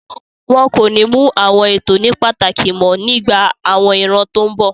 Wọn kò ní mú àwọn ètò ní pàtàkì mọ́ nígbà àwọn ìran tó n bọ̀